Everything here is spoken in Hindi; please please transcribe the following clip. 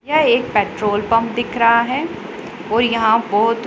यह एक पेट्रोलपंप दिख रहा हैं और यहां बहोत--